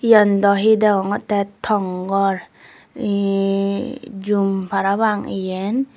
yan daw hi deongottey tong gor yehh jum parapang eyen.